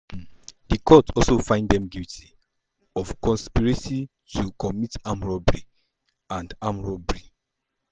di court also find dem guilty of conspiracy to commit armed robbery um and armed robbery.